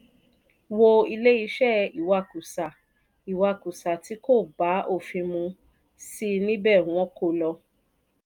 wo ilé iṣẹ́ ìwakùsà ìwakùsá tí kò bá òfin mu sí níbẹ̀ wọ́n kó lọ.